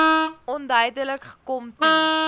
onduidelik gekom toe